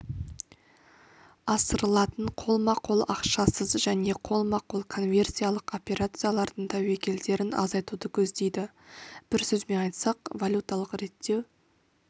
асырылатын қолма-қол ақшасыз және қолма-қол конверсиялық операциялардың тәуекелдерін азайтуды көздейді бір сөзбен айтсақ валюталық реттеу